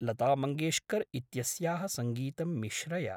लता मङ्गेश्कर् इत्यस्याः सङ्गीतं मिश्रय।